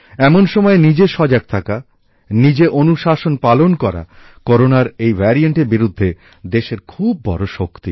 এমন সময়ে নিজে সজাগ থাকা নিজে অনুশাসন পালন করা করোনার এই ভ্যারিয়েন্টের বিরুদ্ধে দেশের খুব বড় শক্তি